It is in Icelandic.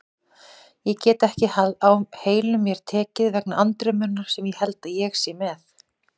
Ég get ekki á heilum mér tekið vegna andremmunnar sem ég held ég sé með.